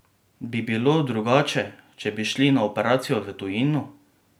Bi bilo drugače, če bi šli na operacijo v tujino?